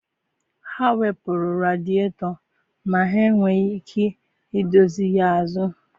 Ha wepụrụ radietọ ma enweghị ike idozi ya azụ.